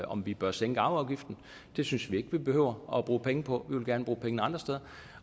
om vi bør sænke arveafgiften det synes vi ikke vi behøver at bruge penge på vi vil gerne bruge pengene andre steder